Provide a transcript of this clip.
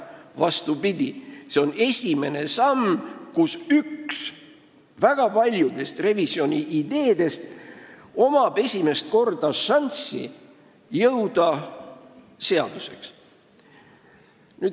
Vastupidi, esimest korda on ühel väga paljudest revisjoni ideedest šanss jõuda seaduse tasemele.